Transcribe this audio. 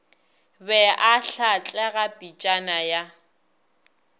be a hlatlega pitšana ya